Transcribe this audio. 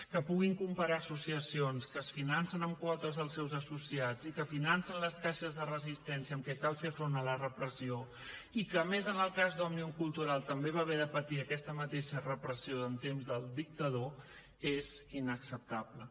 que puguin comparar associacions que es financen amb quotes dels seus associats i que financen les caixes de resistència amb què cal fer front a la repressió i que a més en el cas d’òmnium cultural també va haver de patir aquesta repressió en temps del dictador és inacceptable